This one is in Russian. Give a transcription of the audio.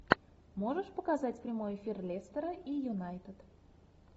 можешь показать прямой эфир лестера и юнайтед